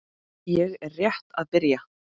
Ég er rétt að byrja!